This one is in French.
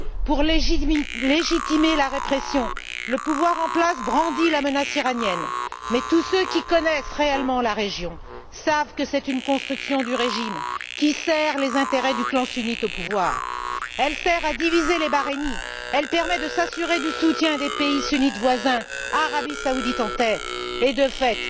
Pour légitimer cette répression, le pouvoir en place brandit la menace iranienne, mais tous ceux qui connaissent réellement la région savent que c'est une construction du régime qui sert les intérêts du clan sunnite au pouvoir, qui sert à diviser les Bahreïniens, qui permet de s'assurer du soutien des pays sunnites voisins, Arabie saoudite en tête et, de fait,